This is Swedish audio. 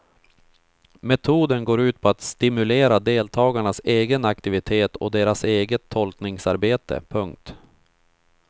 Metoden går ut på att stimulera deltagarnas egen aktivitet och deras eget tolkningsarbete. punkt